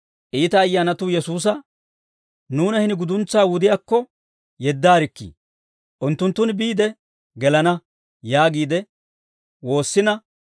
iita ayyaanatuu Yesuusa, «Nuuna hini guduntsaa wudiyaakko yeddaarikkii; unttunttun biide gelana» yaagiide woossina,